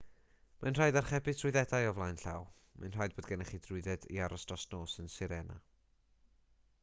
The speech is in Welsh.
mae'n rhaid archebu trwyddedau o flaen llaw mae'n rhaid bod gennych chi drwydded i aros dros nos yn sirena